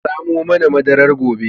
Ka samo mana madarar gobe